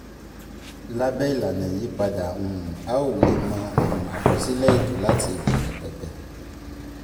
lábé ìlànà ìyípadà um a ó um lè mọ um àkọsílẹ̀ ètò láti ìbẹ̀rẹ̀ pẹ̀pẹ̀